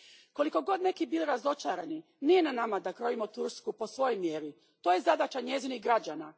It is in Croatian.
Koliko god neki bili razočarani, nije na nama da krojimo Tursku po svojoj mjeri, to je zadaća njezinih građana.